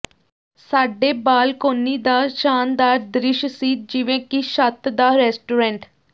ਸਾਡੇ ਬਾਲਕੋਨੀ ਦਾ ਸ਼ਾਨਦਾਰ ਦ੍ਰਿਸ਼ ਸੀ ਜਿਵੇਂ ਕਿ ਛੱਤ ਦਾ ਰੈਸਟੋਰੈਂਟ